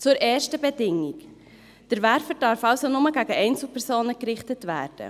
Zur ersten Bedingung: Der Werfer darf also nur gegen Einzelpersonen gerichtet werden.